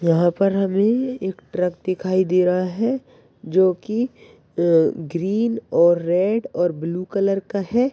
यहाँ पर अभी एक ट्रक दिखाई दे रहा है जो की अह ग्रीन और रेड और ब्लू कलर का है।